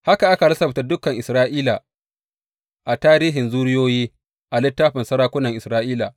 Haka aka lissafta dukan Isra’ila a tarihin zuriyoyi a littafin sarakunan Isra’ila.